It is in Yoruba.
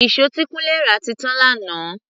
Ìṣó tí Kunle rà ti tán lánàá.